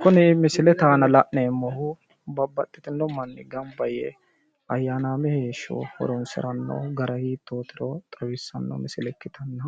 kuni misilete aana la'neemmohu babbaxino manni gamba yee ayyanaame heeshsho horonsiranno gara hiittootiro xawissanno misile ikkitanna